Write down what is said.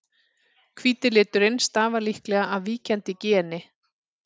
Hvíti liturinn stafar líklega af víkjandi geni.